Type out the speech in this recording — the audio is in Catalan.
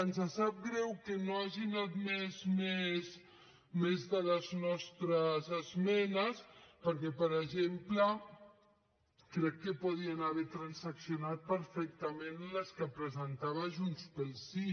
ens sap greu que no hagin admès més de les nostres esmenes perquè per exemple crec que podrien haver transaccionat perfectament les que presentava junts pel sí